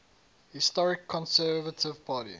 historical conservative party